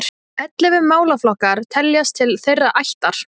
Ellefu málaflokkar teljast til þeirrar ættar.